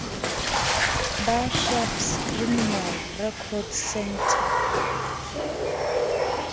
ba saps criminal record centre